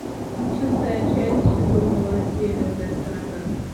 шестая часть сезон два северная сторона